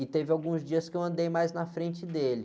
E teve alguns dias que eu andei mais na frente dele.